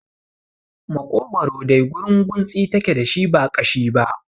Makogwaro dai gurunguntsi take dashi ba ƙashi ba